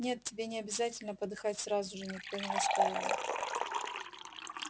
нет тебе не обязательно подыхать сразу же никто не настаивает